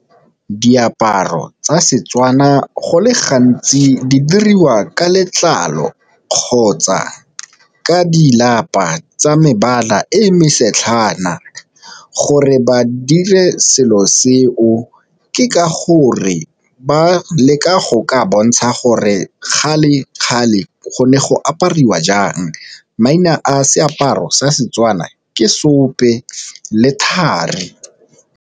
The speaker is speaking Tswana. Diaparo tsa Setswana go le gantsi di dirwa ka letlalo kgotsa ka di lapa tsa mebala e mo setlhana, gore ba dire selo se o ke ka gore ba leka go ka bontsha gore kgale go ne go apariwa jang. Maina a seaparo sa Setswana ke seope le thari.